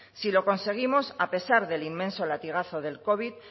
si lo conseguimos a pesar del inmenso latigazo del covid